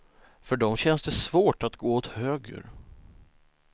För dem känns det svårt att gå åt höger.